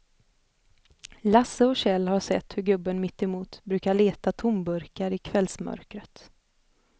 Lasse och Kjell har sett hur gubben mittemot brukar leta tomburkar i kvällsmörkret.